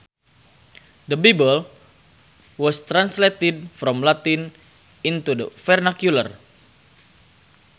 The Bible was translated from Latin into the vernacular